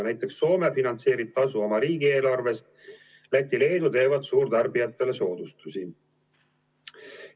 Näiteks Soome finantseerib tasu oma riigieelarvest, Läti ja Leedu teevad suurtarbijatele soodustusi.